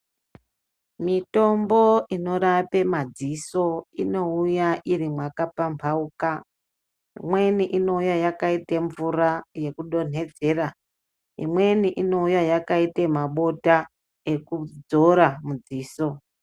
Mitombo inorape maziso inouya iri mwakapambauka imweni inouya yakaite mvura yekudonhedzera imweni inouya yakaita mabota ekuzora mudziso